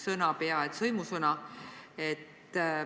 See nimi on peaaegu et sõimusõna.